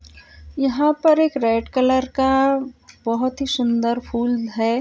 यहाँ पर एक रेड कलर का बहुत सुंदर फूल है।